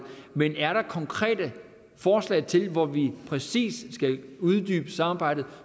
men er der konkrete forslag til hvor vi præcis skal uddybe samarbejdet